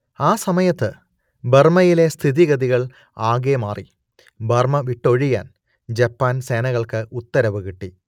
ആ സമയത്ത് ബർമ്മയിലെ സ്ഥിതിഗതികൾ ആകെ മാറി ബർമ്മ വിട്ടൊഴിയാൻ ജപ്പാൻ സേനകൾക്ക് ഉത്തരവ് കിട്ടി